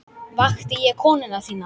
Vakti ég konu þína líka?